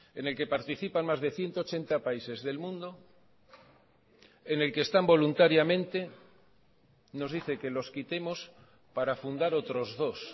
en el que participan más de ciento ochenta países del mundo en el que están voluntariamente nos dice que los quitemos para fundar otros dos